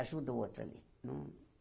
ajuda o outro ali. Não